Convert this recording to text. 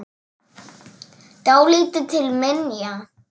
Dálítið til minja.